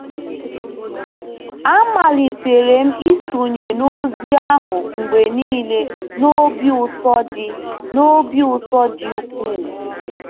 Amalitere m isonye n’ozi ahụ mgbe nile n’obi ụtọ dị n’obi ụtọ dị ukwuu. ”